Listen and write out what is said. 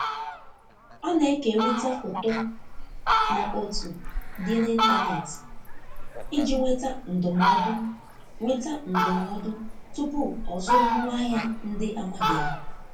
Ọ na-ekerịta foto na otu dị n'intanetị iji nweta ndụmọdụ nweta ndụmọdụ tupu ọzụrụ ngwaahịa ndị amabeghị.